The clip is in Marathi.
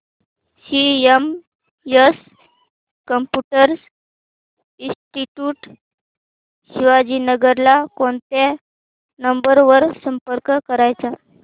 सीएमएस कम्प्युटर इंस्टीट्यूट शिवाजीनगर ला कोणत्या नंबर वर संपर्क करायचा